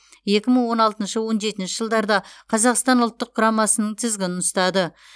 екі мың он алтыншы он жетінші жылдарда қазақстан ұлттық құрамасының тізгінін ұстады